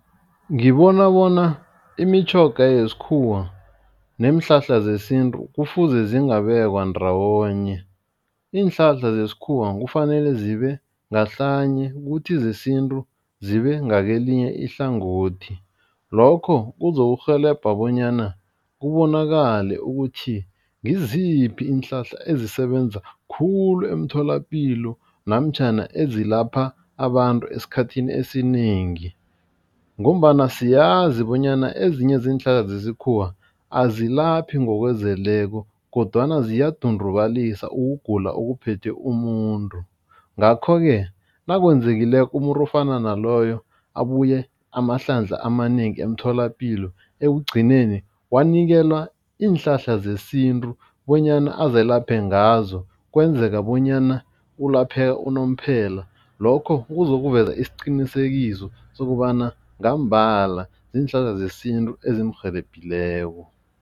Ngibona bona imitjhoga yesikhuwa neenhlahla zesintu kufuze zingabekwa ndawonye. Iinhlahla zesikhuwa kufanele zibe ngahlanye kuthi zesintu zibe ngakelinye ihlangothi. Lokho kuzokurhelebha bonyana kubonakale ukuthi ngiziphi iinhlahla ezisebenza khulu emtholapilo namtjhana ezilapha abantu esikhathini esinengi. Ngombana siyazi bonyana ezinye zeenhlahla zesikhuwa azilaphi ngokuzeleko kodwana ziyadundubalisa ukugula okuphethe umuntu. Ngakho-ke nakwenzekileko umuntu ofana naloyo abuye amahlandla amanengi emtholapilo. Ekugcineni wanikelwa iinhlahla zesintu bonyana azelaphe ngazo kwenzeka bonyana ulapheka unomphela. Lokho kuzokuveza isiqinisekiso sokobana ngambala ziinhlahla zesintu ezimrhelebhileko.